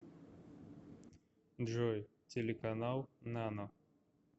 джой телеканал нано